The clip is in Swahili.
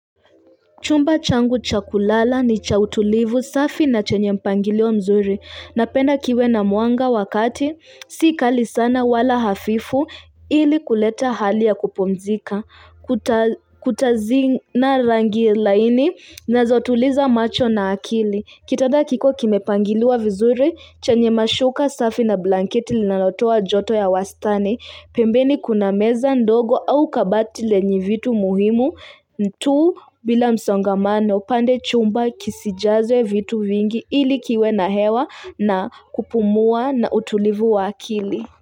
Chumba changu chakulala ni cha utulivu safi na chenye mpangilio mzuri. Napenda kiwe na muanga wakati, sikali sana wala hafifu ili kuleta hali ya kupumzika. Kuta zina rangi laini na zotuliza macho na akili. Kitanda kikuwe kimepangiliwa vizuri, chenye mashuka safi na blanketi linalotoa joto ya wastani. Pembeni kuna meza ndogo au kabati lenye vitu muhimu ntu bila msongamano pande chumba kisijazwe vitu vingi ilikiwe na hewa na kupumua na utulivu wa akili.